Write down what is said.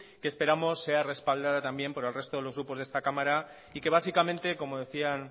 que esperamos sea respaldada también por el resto de grupos de esta cámara y que básicamente como decían